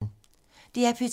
DR P2